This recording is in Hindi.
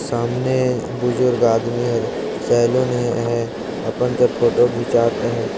सामने बुजूर्ग आदमी और सेलून हे अपन कर फोटो खिचात हे।